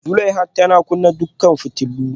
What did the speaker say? Zulaihat tana kunna dukkan fitulun